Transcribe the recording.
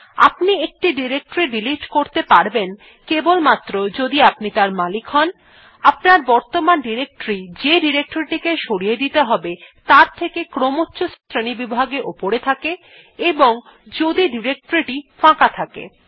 আপনি একটি directory delete করতে পারবেন কেবলমাত্র যদি আপনি তার মালিক হন আপনার বর্তমান ডিরেক্টরী যে ডিরেক্টরী টি সরিয়ে দিতে হবে তার থেকে ক্রমচ্ছ শ্রেণীবিভাগে উপরে থাকে এবং যদি ডিরেক্টরী টি ফাঁকা থাকে